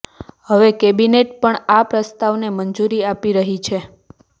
હવે કેબિનેટ પણ આ પ્રસ્તાવને મંજૂરી આપી રહી છે